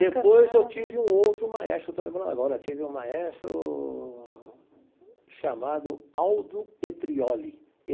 Depois eu tive um outro maestro, estou lembrando agora, tive um maestro chamado Aldo Petrioli.